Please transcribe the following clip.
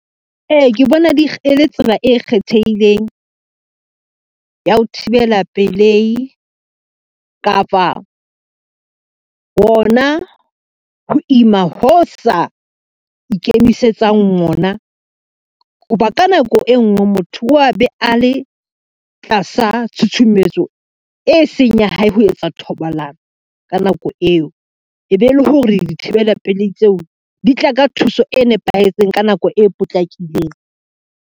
Ee, ke bona e le tsela e kgethehileng, ya ho thibela pelehi kapa hona ho ima ho sa ikemisetsang ona. Ho ba ka nako e ngwe motho a be a le tlasa tshutshumetso e seng ya hae ho etsa thobalano ka nako eo, e be e le hore dithibela pelei tseo di tla ka thuso e nepahetseng ka nako e potlakileng.